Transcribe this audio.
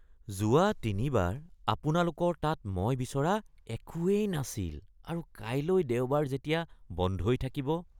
যোৱা তিনিবাৰ আপোনালোকৰ তাত মই বিচৰা একোৱেই নাছিল আৰু কাইলৈ দেওবাৰ যেতিয়া বন্ধই থাকিব।